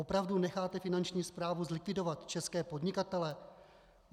Opravdu necháte finanční správu zlikvidovat české podnikatele?